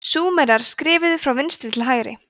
súmerar skrifuðu frá vinstri til hægri